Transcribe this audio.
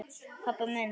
pabbi minn